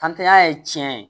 ya ye tiɲɛ ye